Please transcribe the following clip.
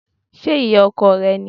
Ṣé ìyá ọkọ rẹ ni?